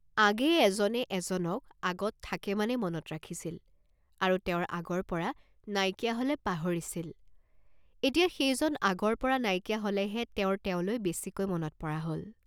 আগেয়ে এজনে এজনক আগত থাকে মানে মনত ৰাখিছিল আৰু তেওঁৰ আগৰ পৰা নাইকিয়া হলে পাহৰিছিল, এতিয়া সেইজন আগৰ পৰা নাইকিয়া হলেহে তেওঁৰ তেওঁলৈ বেছিকৈ মনত পৰা হল।